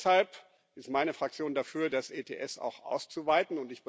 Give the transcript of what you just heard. Auch deshalb ist meine Fraktion dafür, das EHS auch auszuweiten.